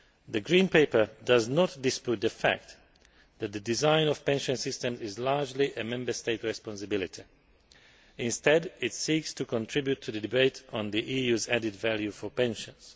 The Green Paper does not dispute the fact that the design of pension systems is largely a Member State responsibility. Instead, it seeks to contribute to the debate on the EU's added value for pensions.